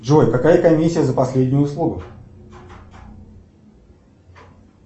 джой какая комиссия за последнюю услугу